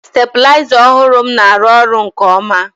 stabiliza ọhụrụ m na-arụ ọrụ nke ọma